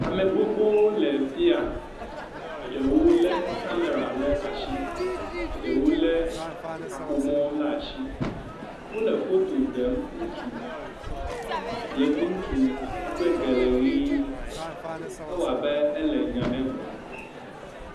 Ame gbogbowo le fi ya, eɖewo lé kamɛra le atsi, eɖewo lé kaƒomɔ le atsi, wolefoto ɖem ŋutsu, yevu ŋutsu, eƒe ge le ʋe, ewɔ abe ele nya le gblɔm.